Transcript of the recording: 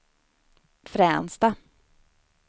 Fränsta